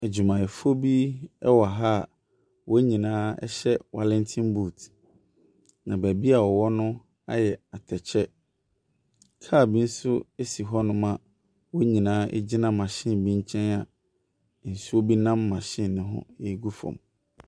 Edwumayɛfo bi ɛwɔ ha wɔn nyinaa ɛhyɛ walɛnten buut na beebi a wɔwɔ no ayɛ atɛkyɛ. Kaal bi nso esi hɔ nom a wɔn nyinaa egyina mahyin nkyɛn a nsuo bi ɛnam mahyin no ho egu fɔm.